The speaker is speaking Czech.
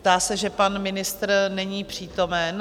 Zdá se, že pan ministr není přítomen.